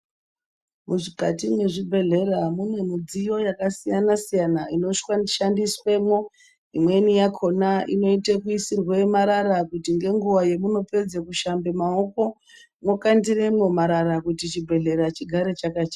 Mukati mwezvibhehlera mune midziyo yakasiyanasiyana inoshandiswemwo, imweni yakona inoite kuisirwe marara kuti nenguwa yamunopedza kushambe maoko mokandiremwo marara kuti chibhehleya chigare chakachena.